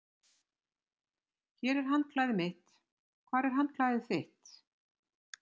Hér er handklæðið mitt. Hvar er handklæðið þitt?